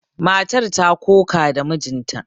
Matar ta ƙoƙa da mijinta.